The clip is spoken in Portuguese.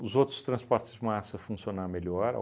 Os outros transportes de massa funcionar melhor.